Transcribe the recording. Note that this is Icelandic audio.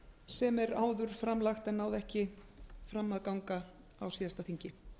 sem er áður fram lagt en náði ekki fram að ganga á síðasta þingi